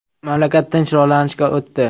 Mamlakat tinch rivojlanishga o‘tdi.